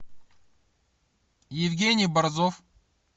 евгений борзов